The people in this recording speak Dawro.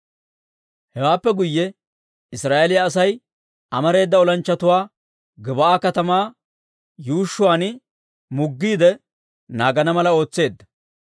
Hewaappe guyye Israa'eeliyaa Asay amareedda olanchchatuwaa Gib'aa katamaa yuushshuwaan muggiide naagana mala ootseedda.